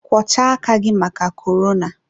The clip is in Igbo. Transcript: kwọchaa aka gị maka korona!